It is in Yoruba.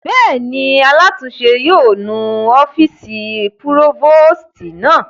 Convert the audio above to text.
Bẹ́ẹ̀ni, alátúnse náà yóò nu ọ́fìsì púrófòstì náà